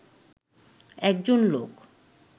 একজন লোক